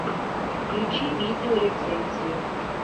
включи видео рецензию